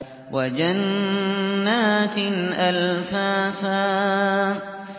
وَجَنَّاتٍ أَلْفَافًا